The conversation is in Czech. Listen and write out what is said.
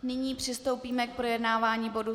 Nyní přistoupíme k projednávání bodu